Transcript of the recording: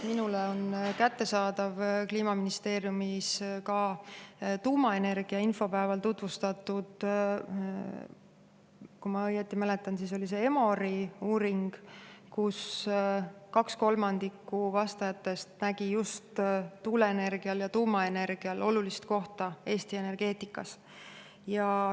Minule on kättesaadav Kliimaministeeriumis tuumaenergia infopäeval tutvustatud, kui ma õieti mäletan, siis oli see EMOR-i uuring, mille järgi kaks kolmandikku vastajatest nägi just tuuleenergial ja tuumaenergial olulist kohta Eesti energeetikas.